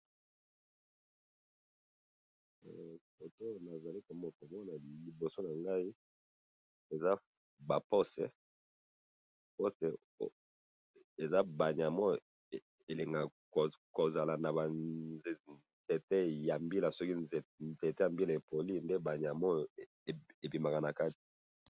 Eloko nazali komona liboso na ngai, eza ba nyama oyo elingaka kozala naba nzete ya mbila, soki nzete epoli nde ba nyama oyo ebimaka na kati.